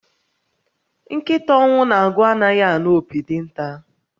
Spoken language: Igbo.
Nkịta ọnwụ na-agụ anaghi anu opi dinta